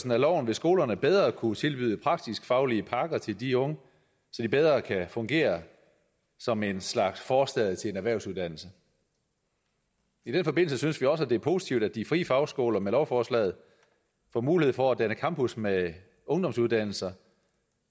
af loven vil skolerne bedre kunne tilbyde praktisk faglige pakker til de unge så de bedre kan fungere som et slags forstadie til en erhvervsuddannelse i den forbindelse synes vi også det er positivt at de frie fagskoler med lovforslaget får mulighed for at danne campus med ungdomsuddannelser